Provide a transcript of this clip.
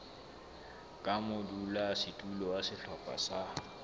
ka modulasetulo wa sehlopha sa